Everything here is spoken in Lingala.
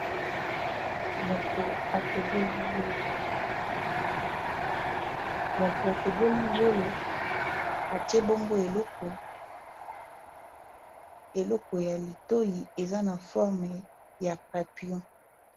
Moto atoboli zolo atie bongo eloko ya litoi eza na forme ya papillon.